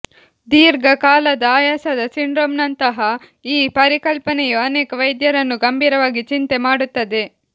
ದೀರ್ಘಕಾಲದ ಆಯಾಸದ ಸಿಂಡ್ರೋಮ್ನಂತಹ ಈ ಪರಿಕಲ್ಪನೆಯು ಅನೇಕ ವೈದ್ಯರನ್ನು ಗಂಭೀರವಾಗಿ ಚಿಂತೆ ಮಾಡುತ್ತದೆ